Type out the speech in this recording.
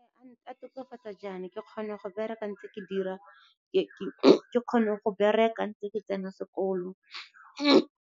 A tokafatsa jaana, ke kgona go bereka ntse ke tsena sekolo.